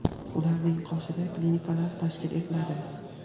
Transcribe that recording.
ularning qoshida klinikalar tashkil etiladi;.